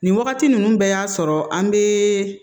Nin wagati ninnu bɛɛ y'a sɔrɔ an bɛ